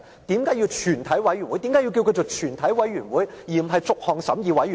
為何要稱它為全體委員會而不是逐項審議委員會？